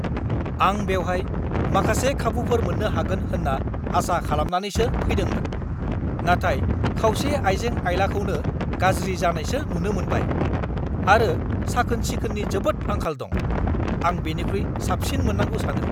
"आं बेवहाय माखासे खाबुफोर मोन्नो हागोन होन्ना आसा खालामनानैसो फैदोंमोन, नाथाय खावसे आइजें-आइलाखौनो गाज्रि जानायसो नुनो मोनबाय, आरो साखोन-सिखोननि जोबोद आंखाल दं। आं बेनिख्रुइ साबसिन मोननांगौ सानो! "